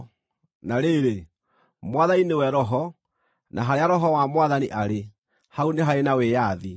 Na rĩrĩ, Mwathani nĩwe Roho, na harĩa Roho wa Mwathani arĩ, hau nĩ harĩ na wĩyathi.